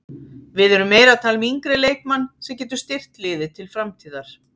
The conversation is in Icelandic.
Við erum meira að tala um yngri leikmann sem getur styrkt liðið til framtíðar.